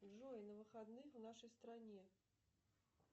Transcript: джой на выходных в нашей стране